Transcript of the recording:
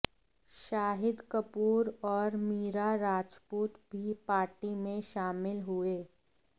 शाहिद कपूर और मीरा राजपूत भी पार्टी में शामिल हुए